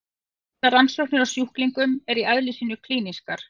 Allar rannsóknir á sjúklingum eru í eðli sínu klínískar.